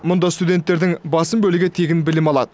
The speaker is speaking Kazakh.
мұнда студенттердің басым бөлігі тегін білім алады